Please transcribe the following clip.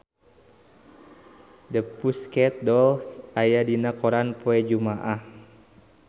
The Pussycat Dolls aya dina koran poe Jumaah